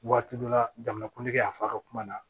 Waati dɔ la jamana kuntigi y'a f'a ka kuma na